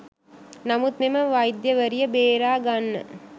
නමුත් මෙම වෛද්‍යවරිය බේරාගන්න